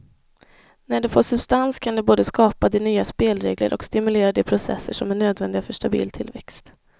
När det får substans kan det både skapa de nya spelregler och stimulera de processer som är nödvändiga för stabil tillväxt.